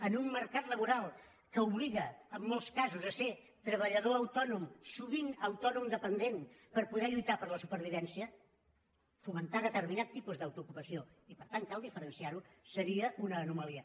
en un mercat laboral que obliga en molts casos a ser treballador autònom sovint autònom dependent per poder lluitar per la supervivència fomentar determinat tipus d’autoocupació i per tant cal diferenciar ho seria una anomalia